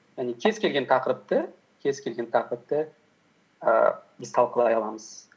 яғни кез келген тақырыпты ііі біз талқылай аламыз